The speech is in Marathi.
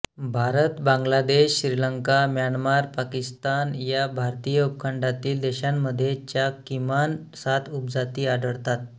भारत बांगलादेश श्रीलंका म्यानमार पाकिस्तान या भारतीय उपखंडातील देशांमध्ये च्या किमान सात उपजाती आढळतात